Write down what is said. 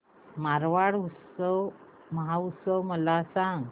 मारवाड महोत्सव मला सांग